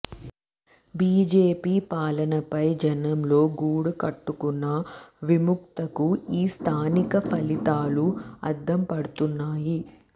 BJP పాలనపై జనంలో గూడు కట్టుకున్న విముఖతకు ఈ స్థానిక ఫలితాలు అద్దం పడుతున్నాయి